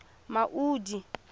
maudi